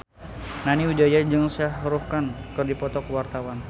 Nani Wijaya jeung Shah Rukh Khan keur dipoto ku wartawan